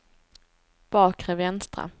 bakre vänstra